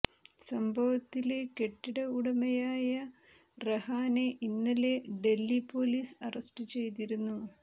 സംഭവത്തില് കെട്ടിട ഉടമയായ റെഹാനെ ഇന്നലെ ഡല്ഹി പൊലീസ് അറസ്റ്റ് ചെയ്തിരുന്നു